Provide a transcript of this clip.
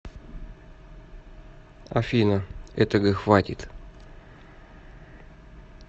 афина этого хватит